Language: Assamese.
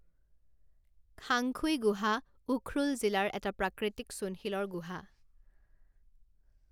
খাংখুই গুহা উখ্ৰুল জিলাৰ এটা প্ৰাকৃতিক চূণশিলৰ গুহা।